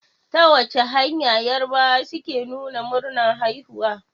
Ta wace hanya yarabawa suke nuna murnar haihuwa?